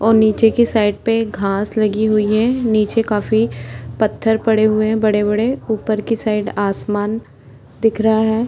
और नीचे साइड पे घास लगी हुई है नीचे काफ़ी पत्थर पड़े हुए है बड़े बड़े ऊपर की साइड आसमान दिख रहा है।